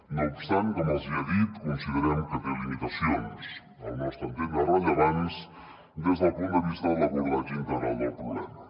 no obstant com els hi he dit considerem que té limitacions al nostre entendre rellevants des del punt de vista de l’abordatge integral del problema